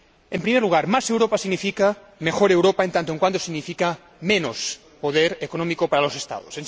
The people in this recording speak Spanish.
En primer lugar, más Europa significa mejor Europa en tanto en cuanto significa menos poder económico para los Estados.